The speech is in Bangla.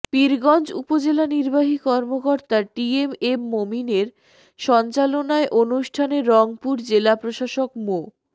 পীরগঞ্জ উপজেলা নির্বাহী কর্মকর্তা টি এম এ মমিনের সঞ্চালনায় অনুষ্ঠানে রংপুর জেলা প্রশাসক মো